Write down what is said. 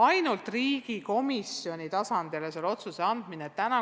Ainult riigi komisjoni tasandile selle otsuse andmine ei ole samuti hea.